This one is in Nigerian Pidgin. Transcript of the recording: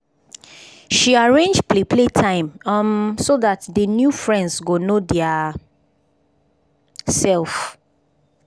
she arrange play play time um so dat d new friends go know dia self